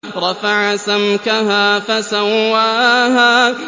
رَفَعَ سَمْكَهَا فَسَوَّاهَا